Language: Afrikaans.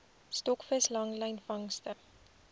stokvis langlyn vangste